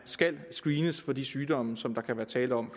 skal screenes for de sygdomme som der kan være tale om